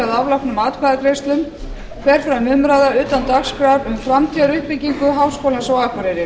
að loknum atkvæðagreiðslum fer fram umræða utan dagskrár um framtíðaruppbyggingu háskólans á akureyri